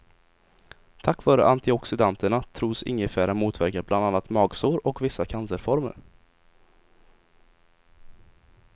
Tack vare antioxidanterna tros ingefära motverka bland annat magsår och vissa cancerformer.